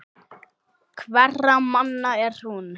Hverra manna er hún?